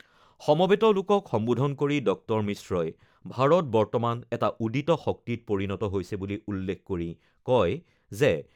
সমবেত লোকক সম্বোধন কৰি ডঃ মিশ্ৰই ভাৰত বৰ্তমান এটা উদিত শক্তিত পৰিণত হৈছে বুলি উল্লেখ কৰি কয় যে, দেশৰ দ্ৰুত বিকাশশীল অৰ্থনীতিয়ে বিজ্ঞান, মহাকাশ প্ৰযুক্তি, উদ্ভাৱন আৰু ষ্টাৰ্ট আপসমূহক আগুৱাই লৈ যাবলৈ সমৰ্থ হৈছে।